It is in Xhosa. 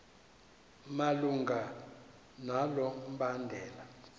malunga nalo mbandela